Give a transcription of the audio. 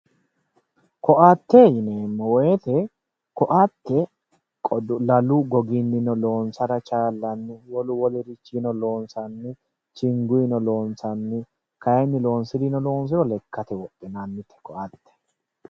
Koatte yineemmo woyte koatte lalu gogininno loonsara chalanite wolu wolurichininno loonsanni chingunino loonsanni kayinni loonsirininno loonsiro wodhinanni koatte.